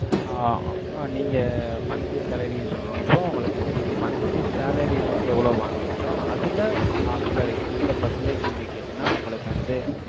ஆஹ் அப்~ நீங்க, monthly salary ன்னு சொல்ற அப்போ, உங்களுக்கு வந்து, நீங்க monthly salary ஐ வந்து, எவ்வளவு வாங்கறீங்களோ, அதுல, அஹ் சில, எந்த percentage, நீங்க கேட்டீன்னா, உங்களுக்கு வந்து,